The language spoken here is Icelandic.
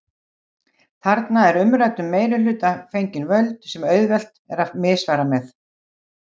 Þarna er umræddum meirihluta fengin völd sem auðvelt er að misfara með.